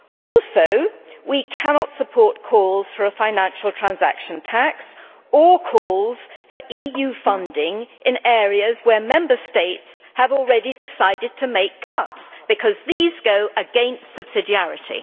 Also, we cannot support calls for a financial transaction tax or for EU funding in areas where Member States have already decided to make cuts, because these go against subsidiarity.